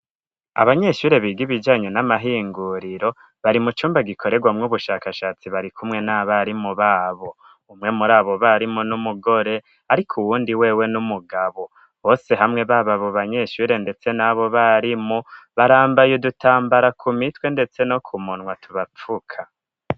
Abanyeshure biga ibijanyu n'amahinguriro bari mu cumba gikorerwamwo ubushakashatsi bari kumwe n'abarimu babo umwe muri abo barimo n'umugore, ariko uwundi wewe n'umugabo bose hamwe bababo banyeshure, ndetse n'abo barimu barambaye udutambara ku mitwe, ndetse no ku muntwa tubapfuka.